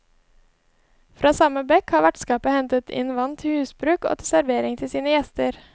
Fra samme bekk har vertskapet hentet inn vann til husbruk og til servering til sine gjester.